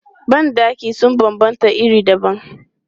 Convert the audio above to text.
Ban ɗaki sun banbanta iri dabam.